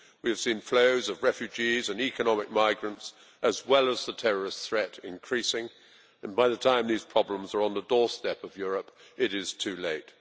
We have seen flows of refugees and economic migrants, as well as the terrorist threat, increasing and, by the time these problems are on the doorstep of Europe, it is too late.